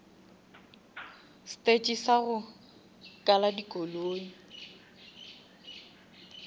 steše sa go kala dikoloi